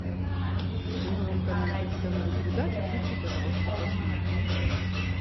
на новом канале какие то новые передачи включи пожалуйста посмотрим